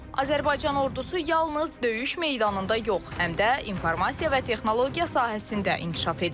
Azərbaycan Ordusu yalnız döyüş meydanında yox, həm də informasiya və texnologiya sahəsində inkişaf edir.